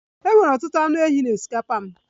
E nwere ọtụtụ anụ ehi na osikapa m.